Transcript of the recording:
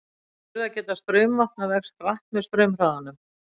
En burðargeta straumvatna vex hratt með straumhraðanum.